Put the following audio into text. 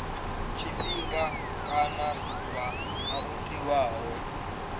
tshifhinga kana ḓuvha ḽo tiwaho